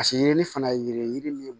Paseke yiri fana ye yiri ye yiri min